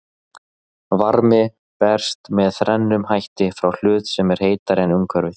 Varmi berst með þrennum hætti frá hlut sem er heitari en umhverfið.